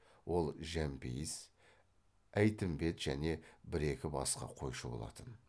ол жәмпейіс әйтімбет және бір екі басқа қойшы болатын